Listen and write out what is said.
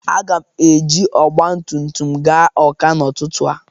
Aga m eji ọgbatumtum gaa Ọ́ká n'ụtụtụ a.